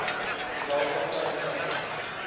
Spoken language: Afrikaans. terwyl kaptein kleyn